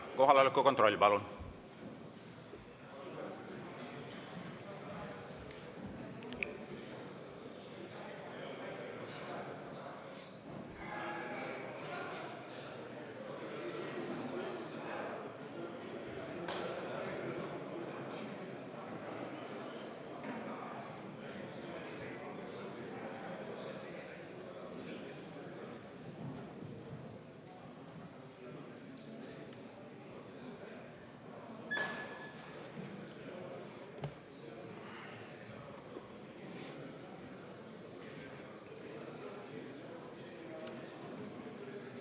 Kohaloleku kontroll, palun!